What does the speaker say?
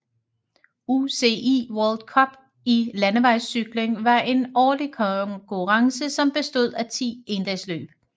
UCI World Cup i landevejscykling var en årlig konkurrence som bestod af 10 endagsløb